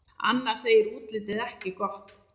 Anna segir útlitið ekki gott.